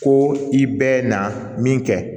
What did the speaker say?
Ko i bɛɛ na min kɛ